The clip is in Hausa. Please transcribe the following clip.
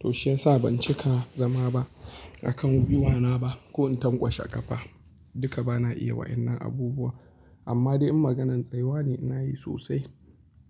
To shiyasa ban cika zama ba a kan gwiwa na ba ko in tankwashe ƙafa, duka bana iya wa'inan abubuwa. Amma dai in maganan tsayuwa ne inayi sosai.